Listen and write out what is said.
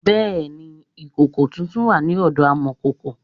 Bẹẹ ni, ìkòkò tuntun wà ní ọ̀dọ amọ̀kòkò